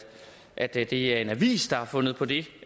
at det er en avis der har fundet på det